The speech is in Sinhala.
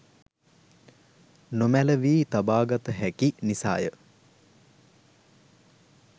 නොමැලවී තබාගත හැකි නිසාය.